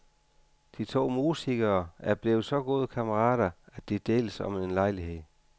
De to musikere er blevet så gode kammerater, at de deles om en lejlighed.